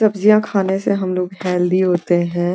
सब्जियां खाने से हम लोग हेल्दी होते हैं।